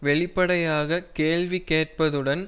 வெளிப்படையாக கேள்வி கேட்பதுடன்